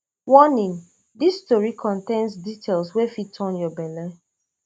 warning dis tori contain details wey fit turn your belle